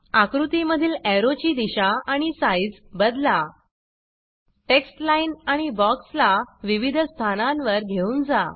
आकृती मधील एरो ची दिशा आणि आणि साइज़ बदला टेक्स्ट लाइन आणि बॉक्स ला विविध स्थनांवर घेऊन जा